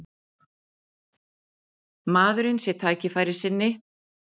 Maðurinn sé tækifærissinni